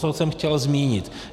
Co jsem chtěl zmínit.